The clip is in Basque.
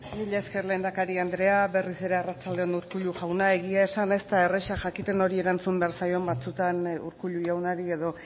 mila esker lehendakari anderea berriz ere arratsalde on urkullu jauna egia esan ez da erraza jakiten nori erantzun behar zaion batzuetan urkullu jaunari edo